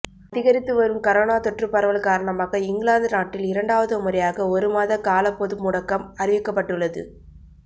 அதிகரித்து வரும் கரோனா தொற்று பரவல் காரணமாக இங்கிலாந்து நாட்டில் இரண்டாவது முறையாக ஒருமாத கால பொதுமுடக்கம் அறிவிக்கப்பட்டுள்ளது